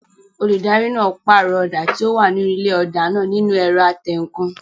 Olùdarí náà pàrọ̀ ọ̀dà tí ó wà nínú ilé ọ̀dà náà nínu ẹ̀rọ atẹǹkan